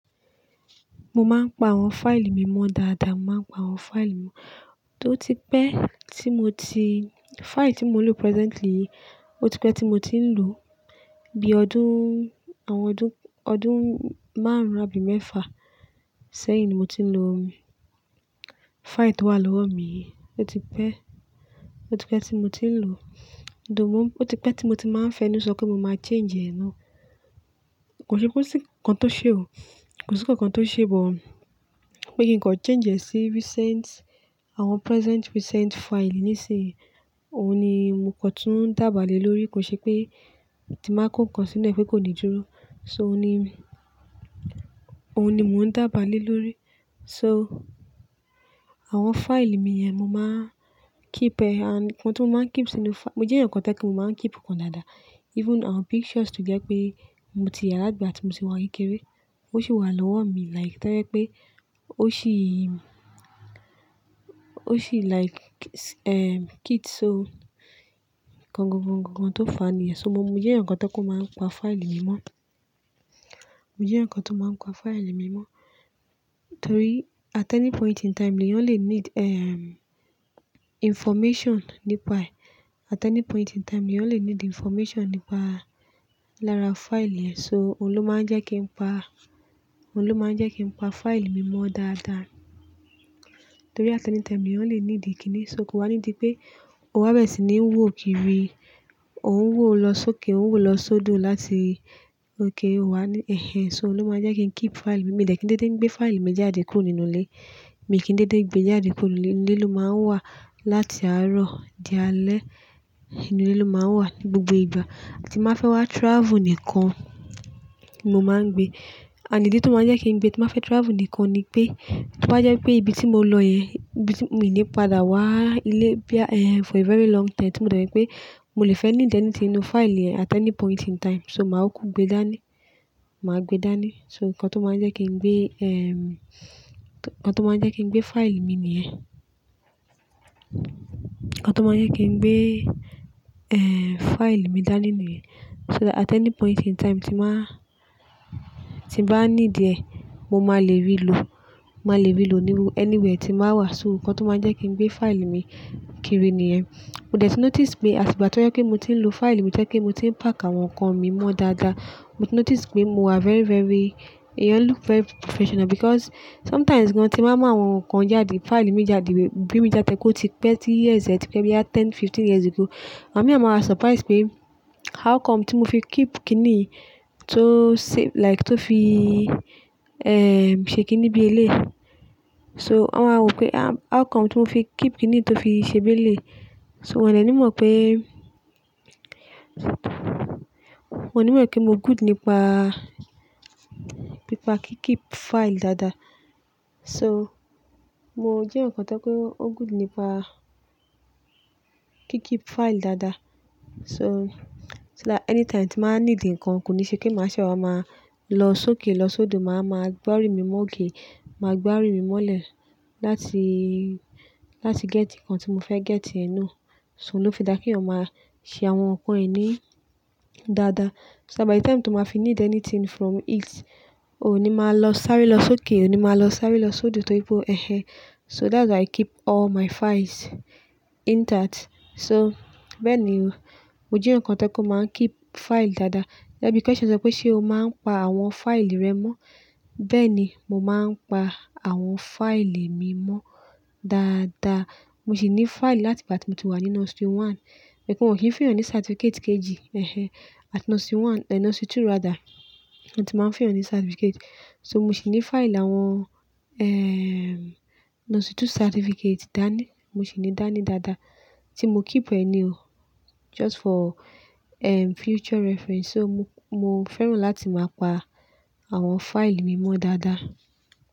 Mo máa ń pa àwọn fáìlì mi mọ́ dáadáa. Mo máa ń pa àwọn fáìlì mi. Ó ti pẹ́ tí mo ti, fáìlì tí mo ń lò presently, ó ti pẹ́ tí mo ti ń lò. Bí ọdún, àwọn ọdún, ọdún márùn-ún, àbí mẹ́fà sẹ́yìn ni mo ti ń lò fáìlì tó wà lọ́wọ́ mi yi. Ó ti pẹ́, ó ti pẹ́ tí mo ti ń lò. Ó ti pẹ́ tí mo ti máa ń fẹ́ ní sọ pé mo máa change ẹ nú. Kò ṣe pé kò sí nnkan tó ṣe o. Kò sí nnkan tó ṣe, but pé kí n kọ change ẹ sí recent, àwọn present recent fáìlì nísìnyí. Òun ni mo kọ tún ń dába lè lórí. Kò ṣe pé tí máa kó nnkan sínú ẹ pé kò ní dúró. So òun ni, òun ni mò ń dába lè lórí. So àwọn fáìlì mi yẹn mo máa keep ẹ. And nnkan tí mo máa ń keep sínú fá-- mo jẹ́ nnkan kan tí ẹ kú, mo máa ń keep nkan dáadáa. Even àwọn pictures tó jẹ́ pé mo ti yà látigba tí mo ti wà ni kékeré. Ó sì wà lọ́wọ́ mi like tẹ́lẹ̀ pé ó ṣì, ó ṣì like,, kids o. Ǹkan gangan tó fa niyen. So mo jẹ́ eyan kan tí o máa ń pa fáìlì mi mọ́. Mo jẹ́ eyan kan tí ó máa ń pa fáìlì mi mọ́. Torí at any point in time ni leyan lè need, information nípa ẹ̀. At any point in time ni eyan lè need information nípa lára fáìlì ẹ. So òun ló máa ń jẹ́ kí n pa, òun ló máa ń jẹ́ kí n pa fáìlì mi mọ́ dáadáa. Torí at any time ni leyan lè need kíni. So kò wá ní di pé o wá bẹ̀rẹ̀ sí ní ń wò kiri. Ò ń wò lọ sókè, ò ń wò lọ sódò láti gé ọ wa ní ẹ̀hẹ̀n. So òun ló máa jẹ́ kí n keep fáìlì mi. Mi ò dẹ̀ tí ń dédé ń gbé fáìlì mi jáde kúrò nínú ilé. Mi kì í dédé gbé e jáde kúrò ní ilé. Ilé ló máa ń wà láti àárọ̀ di alẹ́. Inú ilé ló máa ń wà ní gbogbo ìgbà. Tí mbáa fẹ́ wá travel nìkan ni mo máa ń gbé. And idi tó máa ń jẹ́ kí n gbé tí máa fẹ́ travel nìkan ni pé, tí wá jẹ́ pé ibi tí mo lọ yẹn, ibi tí mo ìní padà wá ilé bí ẹ́, eh, for a very long time, tí mo dọ̀ pé mo lè fẹ́ need anything ninú fáìlì yen at any point in time. So màá kúkú gbe dání. Màá gbe dání. So nnkan tó máa ń jẹ́ kí n gbé, ehm, nnkan tó máa ń jẹ́ kí n gbé fáìlì mi nìyẹn. Ǹkan tó máa ń jẹ́ kí n gbé, eh, fáìlì mi dání nìyẹn. So that at any point in time tí mbáa, tí bá needi ẹ, mo máa lè rí i lò. Mo máa lè rí i lò ní anywhere tí máa wà. So nnkan tó máa ń jẹ́ kí n gbé fáìlì mi kiri nìyẹn. Mo déẹ̀ tí notice pé àsìkò àtijọ́ tí mo ti ń lò fáìlì, mo jẹ́ kí mo ti ń pack àwọn nǹkan mi mọ́ dáadáa. Mo ti notice pé mo wà very, very-- ẹ̀yan look very professional because sometimes gan tí máa mú àwọn nǹkan jáde, fáìlì mi jáde, gbé mi jáde pé ó ti pẹ́ tí years yẹn tí pẹ́, jáde ten, fifteen years ago. Àwọn ènìyàn máa surprise pé how come tí mo fi keep kíni tó save, like tó fi, ṣe kíni bí ẹ léyi. So wọ́n máa rò pé how come tí mo fi keep kíni tó fi ṣe bí ẹ léyi So wọ́n lè ní mọ̀ pé, wọ́n lè mọ̀ pé mo good nípa bí pa kí keep fáìlì dáadáa. So mo jẹ́ eyan kan tí ẹ kú, o good nípa kí keep fáìlì dáadáa. So, so that anytime tí máa need nǹkan, kò ní ṣe kí màá ṣẹ́ wá máa lọ sókè lọ sódò, màá máa gbárí mi mọ́ ogiri. Màá gbárí mi mọ́ lè láti, láti get nǹkan tí mo fẹ́ get ẹ na So òun ló fi dáa kí ẹ̀yàn máa ṣe àwọn nǹkan ẹ ní dáadáa. So that by the time tí o máa fi need anything from it, ò ní máa lọ sáré lọ sókè, ò ní máa lọ sáré lọ sódò torí pé ẹ̀hẹ̀n. So that's how I keep all my files intact. So bẹ́ẹ̀ ni o. Mo jẹ́ eyan kan to ye pe mo máa keep fáìlì dáadáa. Gege bi question yen se sọ pé ṣé o máa ń pa àwọn fáìlì rẹ mọ́. Bẹ́ẹ̀ ni. Mo máa ń pa àwọn fáìlì mi mọ́ dáadáa. Mo sì ní fáìlì láti ìgbà tí mo ti wà nínú nursery one. Ẹ̀kùn ọṣẹ fihàn ní certificate kg. At nursery one, nursery two rather. Ni mo ti máa ń fun eyàn ní certificate. So mo sì ní fáìlì àwọn, nursery two certificate dání. Mo sì ní i dání dáadáa tí mo keep ẹ ni o. Just for, ehm, future reference. So mo, mo fẹ́ràn láti máa pa àwọn fáìlì mi mọ́ dáadáa.